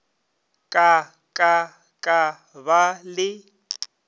ka ka ka ba le